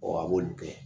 a b'olu kɛ